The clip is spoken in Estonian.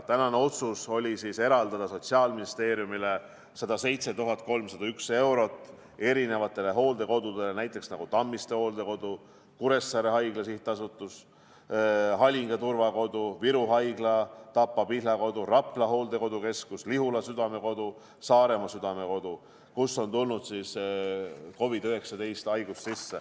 Tänane otsus oli eraldada Sotsiaalministeeriumile 107 301 eurot hooldekodude tarbeks, näiteks Tammiste Hooldekodu, Kuressaare Haigla, Halinga Turvakodu, Viru Haigla, Tapa Pihlakodu, Rapla Hooldekeskus, Lihula Südamekodu, Saaremaa Südamekodu, kuhu on tulnud sisse COVID-19 haigus.